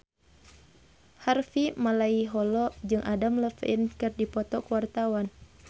Harvey Malaiholo jeung Adam Levine keur dipoto ku wartawan